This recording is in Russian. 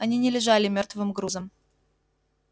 они не лежали мёртвым грузом